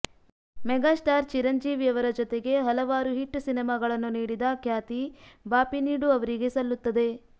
mega star Chiranjeevi ಅವರ ಜತೆಗೆ ಹಲವಾರು ಹಿಟ್ ಸಿನಿಮಾಗಳನ್ನು ನೀಡಿದ ಖ್ಯಾತಿ ಬಾಪಿನೀಡು ಅವರಿಗೆ ಸಲ್ಲುತ್ತದೆ